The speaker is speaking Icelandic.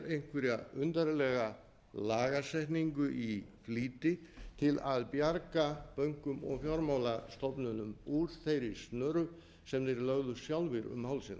einhverja undarlega lagasetningu í flýti til að bjarga bönkum og fjármálastofnunum úr þeirri snöru sem þeir lögðu sjálfir um hálsinn